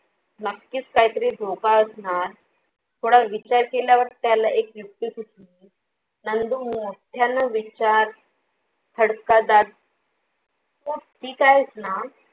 नक्कीच काहीतरी धोका असणार. थोडा विचार केल्यावर त्याला एक युक्ती सुचली नंदू मोठ्यान विचार खदकडात तू ठीक आहेस ना?